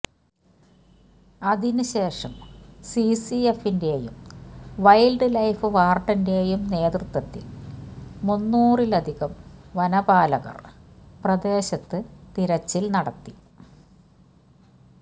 അതിന് ശേഷം സിസിഎഫിന്റെയും വൈൽഡ് ലൈഫ് വാർഡന്റെയും നേതൃത്വത്തിൽ മുന്നൂറിലധികം വനപാലകർ പ്രദേശത്ത് തിരച്ചിൽ നടത്തി